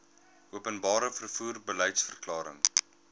openbare vervoer beliedsverklaring